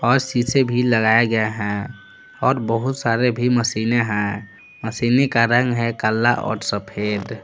और शीशे भी लगाये गये है और बहुत सारे भी मशीनें हैं मशीनें का रंग है काला और सफेद--